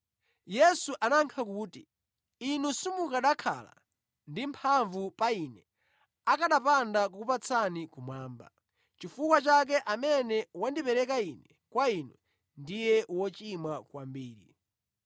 Yesu anayankha kuti, “Inu simukanakhala ndi mphamvu pa Ine akanapanda kukupatsani kumwamba. Nʼchifukwa chake amene wandipereka Ine kwa inu ndiye wochimwa kwambiri.”